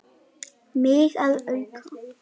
Mig að auki.